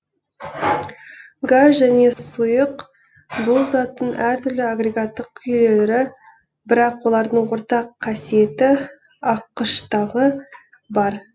газ және сұйық бұл заттың әртүрлі агрегаттық күйлері бірақ олардың ортақ қасиеті аққыштығы бар